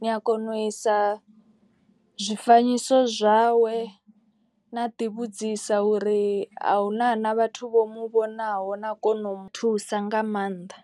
Ni a kona u isa zwifanyiso zwawe na ḓi vhudzisa uri a huna na vhathu vho mu vhonaho na kona u mu thusa nga maanḓa.